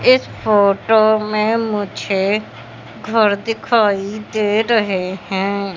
इस फोटो में मुझे घर दिखाई दे रहें हैं।